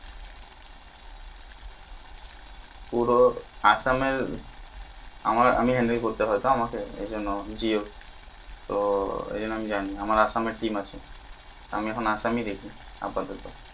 পুরো আসামে আমার আমি handle করতে হতো আমাকে এই জন্য জিও তো এই জন্য আমি জানি আমার আসামে team আছে আমি এখন আসামই দেখি আপাতত